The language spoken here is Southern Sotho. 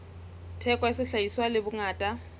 theko ya sehlahiswa le bongata